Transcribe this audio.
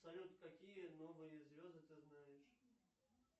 салют какие новые звезды ты знаешь